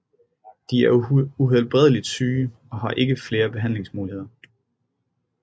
De er uhelbredeligt syge og har ikke flere behandlingsmuligheder